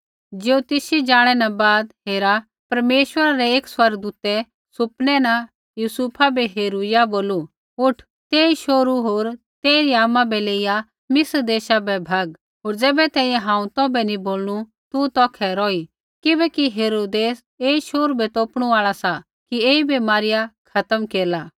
ज्योतिषी ज़ाणै न बाद हेरा परमेश्वरा रै एकी स्वर्गदूतै सुपनै न यूसुफा बै हेरूइया बोलू उठ तेई शोहरू होर तेइरी आमा बै लेइया मिस्र देशा बै भग होर ज़ैबै तैंईंयैं हांऊँ तौभै नी बोलनू तू तौखै रौही किबैकि हेरोदेस ऐई शोहरू बै तोपणू आल़ा सा कि ऐईबै मारिया खत्म केरला